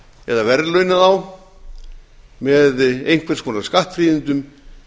eða verðlauna þá með einhvers konar skattfríðindum